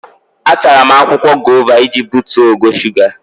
Atara m akwụkwọ gova iji butuo ogo shuga.